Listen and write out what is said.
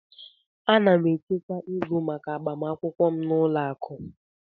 Ana m echekwa ego maka agbamakwụkwọ m n'ụlọ akụ.